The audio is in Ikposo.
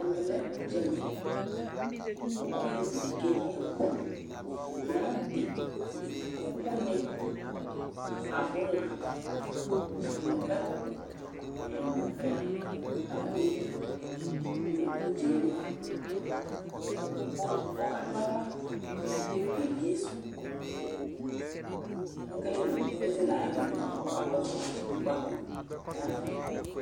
ɛmɛ lɛ udza li, ku olevi di keyi ɛku, tumanti ɛku ni abula nu ɛku ɛlu ɛlu ya kokeyi nu udzɛli ku ɔka du aɣla kebiesu, keke nɔ , ezele ayaɣlaɛ lia ame kɔka kɔsu kpako ayava